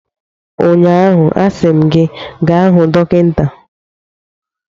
Ụnyaahụ, a sị m gị gaa hụ dọkịta!